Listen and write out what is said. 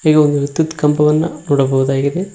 ಹಾಗೆ ಒಂದು ವಿದ್ಯುತ್ ಕಂಬವನ್ನ ನೋಡಬಹುದಾಗಿದೆ.